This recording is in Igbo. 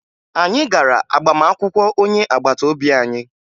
Anyị gara agbamakwụkwọ onye agbata obi anyị